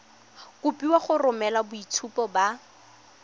kopiwa go romela boitshupo ba